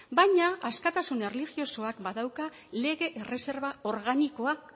baina askatasun erlijiosoak badauka lege erreserba organikoa